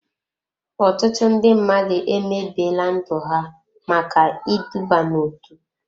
Ọtụtụ ndị mmadụ emebiela ndụ ha maka iduba n'otu.